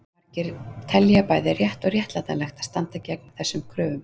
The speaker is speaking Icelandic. Margir telja bæði rétt og réttlætanlegt að standa gegn þessum kröfum.